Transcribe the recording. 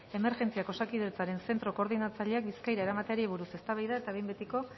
emergentziak osakidetzaren zentro koordinatzaileak bizkaira eramateari buruz eztabaida eta behin betiko